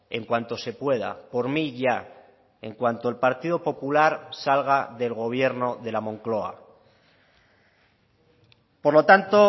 en cuanto se pueda por mí ya en cuanto el partido popular salga del gobierno de la moncloa por lo tanto